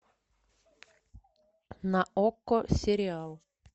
на окко сериал